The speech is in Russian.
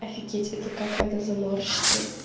офигеть это как надо заморщиться